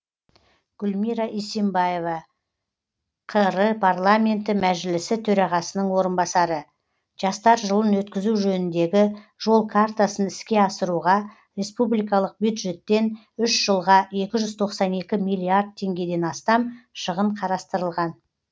гүлмира исимбаева қр парламенті мәжілісі төрағасының орынбасары жастар жылын өткізу жөніндегі жол картасын іске асыруға республикалық бюджеттен үш жылға екі жүз тоқсан екі миллиард теңгеден астам шығын қарастырылған